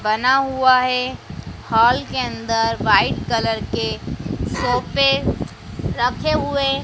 बना हुआ है हॉल के अंदर वाइट कलर के सोपे रखें हुए--